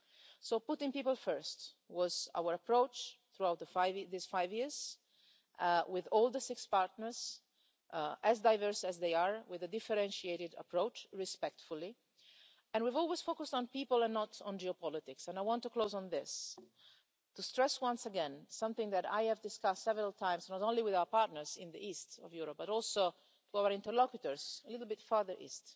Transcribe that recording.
So putting people first was our approach throughout these five years, with all the six partners, as diverse as they are, with a differentiated approach respectfully, and we've always focused on people and not on geopolitics, and I want to close on this to stress once again something that I have discussed several times, not only with our partners in the East of Europe, but also with our interlocutors a little bit further east,